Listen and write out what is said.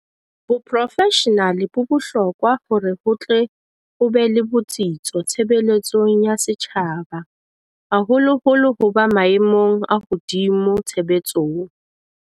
Boprofeshenale bo bohlo kwa hore ho tle ho be le botsitso tshebeletsong ya setjhaba, haholoholo ho ba maemong a hodimo tshebetsong.